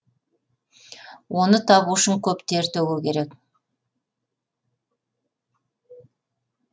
оны табу үшін көп тер төгу керек